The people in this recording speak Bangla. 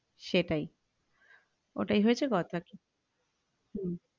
সেটাই ওই হয়েছ কথা